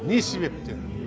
не себептен